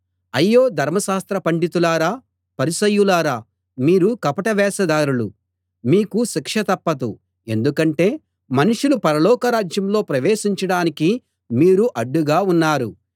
అయ్యో ధర్మశాస్త్ర పండితులారా పరిసయ్యులారా మీరు కపట వేషధారులు మీకు శిక్ష తప్పదు ఎందుకంటే మనుషులు పరలోకరాజ్యంలో ప్రవేశించడానికి మీరు అడ్డుగా ఉన్నారు